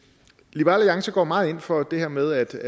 liberal alliance går meget ind for det her med